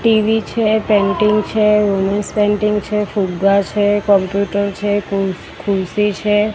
TV છે painting છે painting છે ફુગ્ગા છે કમ્પ્યુટર છે ખુરશી છે.